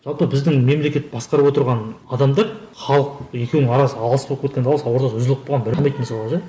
жалпы біздің мемлекет басқарып отырған адамдар халық екеуінің арасы алыс болып кеткенін ортасы үзіліп қалған мысалы да